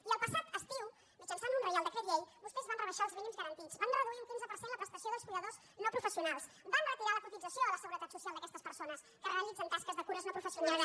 i el passat estiu mitjançant un reial decret llei vostès van rebaixar els mínims garantits van reduir un quinze per cent la prestació dels cuidadors no professionals van retirar la cotització a la seguretat social d’aquestes persones que realitzen taques de cures no professionals